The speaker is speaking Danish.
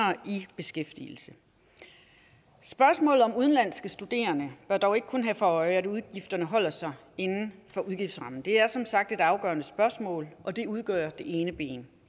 beskæftigelse spørgsmålet om udenlandske studerende bør dog ikke kun have for øje at udgifterne holder sig inden for udgiftsrammen det er som sagt et afgørende spørgsmål og det udgør det ene ben